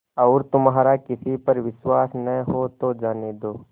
और तुम्हारा किसी पर विश्वास न हो तो जाने दो